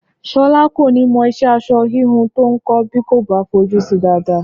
Ṣọlá kò ní mọ ìṣe aṣọ híhun tó ń kọ́ bí kò bá fojú si dáadáa